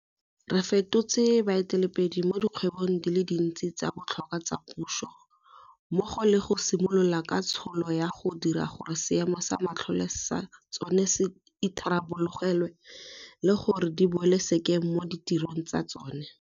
Re fetotse baeteledipele mo dikgwebong di le dintsinyana tse di botlhokwa tsa puso, mmogo le go simolola ka letsholo la go dira gore seemo sa matlole sa tsona se itharabologelwe le gore di boele sekeng mo ditirong tsa tsona.